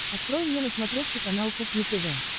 открой мне на смотрешке канал кухня тв